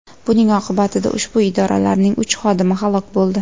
Buning oqibatida ushbu idoralarning uch xodimi halok bo‘ldi.